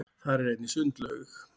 þar er einnig sundlaug